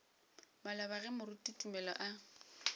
maloba ge moruti tumelo a